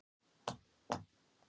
Snævarr, er bolti á fimmtudaginn?